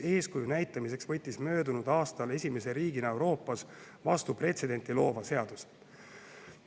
Eeskuju näitamiseks võtsime möödunud aastal esimese riigina Euroopas vastu pretsedenti loova seaduse.